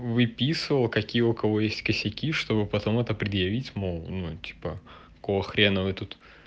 выписывал какие у кого есть косяки чтобы потом это предъявить мол ну типа какого хрена вы тут